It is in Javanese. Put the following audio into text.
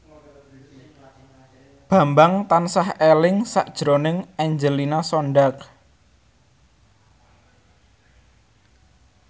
Bambang tansah eling sakjroning Angelina Sondakh